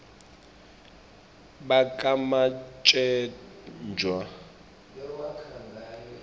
bakamatsenjwa